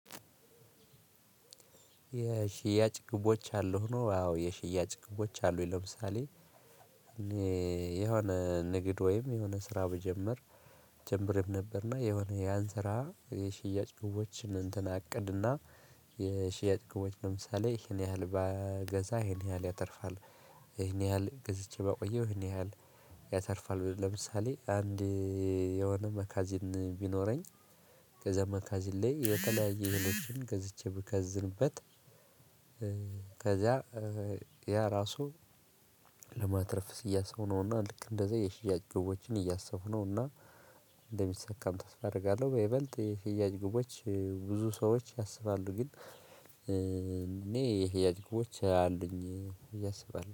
የሽያጭ ግቦች አሉህ ነው? አዎ የሽያጭ ግቦች አሉኝ ለምሳሌ። የሆነ ንግድ ወይም የሆነ ስራ ብጀምር ጀምሬም ነበር። እና የሆነ ያን ስራ የሽያጭ ግቦች እንትን አቅድ እና። የሽያጭ ግቦች ለምሳሌ ይሄን ያህል ባገዛ ይሄን ያህል ያተርፋል። ይሄን ያህል ገዝቼ ባቆየው ይሄን ያህል። ያተርፋል ለምሳሌ አንድ የሆነ መካዚን ቢኖረኝ ከዛ መካዚን ላይ የተለያዩ እህልዎችን ገዝቼ ብከዝንበት። ከዚያ ያ እራሱ ለማትረፍ እያሰብኩ ነው። እና ልክ እንደዛ የሽያጭ ግቦችን እያሰብኩ ነው። እና እንደሚሳካም ተስፋ አደርጋለሁ። በይበልጥ የሽያጭ ግቦች ብዙ ሰዎች ያስባሉ ግን እኔ የሽያጭ ግቦች አሉኝ ብዬ አስባለሁ